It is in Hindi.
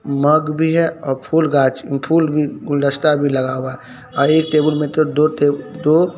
मग भी है और फूल गांछ फुल गुलदस्ता भी लगा हुआ है एक टेबुल में तो दो--